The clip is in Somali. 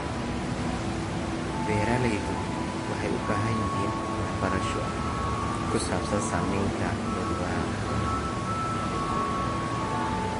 Beeraleydu waxay u baahan yihiin waxbarasho ku saabsan saamaynta cudurrada xoolaha.